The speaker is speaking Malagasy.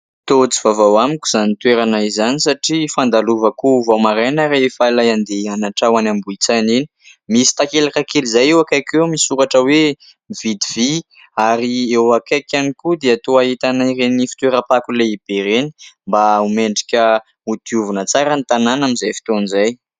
Toa tsy vaovao amiko izany toerana izany satria fandalovako vao maraina rehefa ilay andeha hianatra ho any Ambohitsaina iny. Misy takelaka kely izay eo akaiky eo misy soratra hoe " Mividy vỳ", ary eo akaiky ihany koa dia toa ahitana ireny fitoeram-pako lehibe ireny mba ho mendrika ho diovina tsara ny tanàna amin'izay fotoana izay.